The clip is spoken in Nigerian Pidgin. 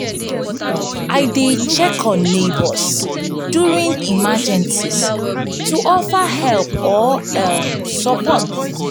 i dey check on neighbors during emergencies to offer help or um support. um